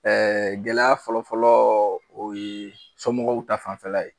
Ɛɛ gɛlɛya fɔlɔ-fɔlɔ o ye somɔgɔw ta fanfɛla ye